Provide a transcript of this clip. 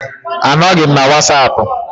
Anọghị m na wasapụ